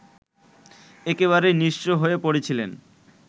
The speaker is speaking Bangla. একেবারে নিঃস্ব হয়ে পড়েছিলেন